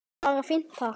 Bara fínt, takk!